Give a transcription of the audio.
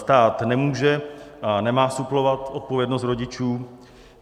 Stát nemůže a nemá suplovat odpovědnost rodičů.